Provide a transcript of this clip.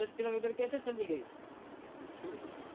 દસ કિલોમીટર